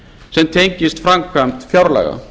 sem tengist framkvæmd fjárlaga